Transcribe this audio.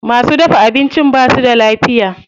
Masu dafa abincin basu da lafiya.